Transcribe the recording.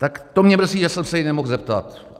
Tak to mě mrzí, že jsem se jí nemohl zeptat.